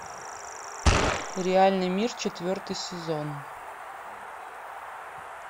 реальный мир четвертый сезон